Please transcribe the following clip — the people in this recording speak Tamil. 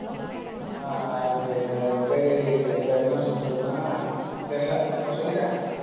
ஆஹ் அது~அதுக்கு பேரு, இப்ப என்ன சொல்றதுன்னா, தெரியல. இப்ப சொல்லிட்டேன்.